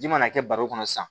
Ji mana kɛ baro kɔnɔ sisan